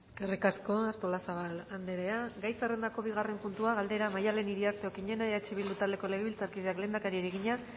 eskerrik asko artolazabal andrea gai zerrendako bigarren puntua galdera maddalen iriarte okiñena eh bildu taldeko legebiltzarkideak lehendakariari egina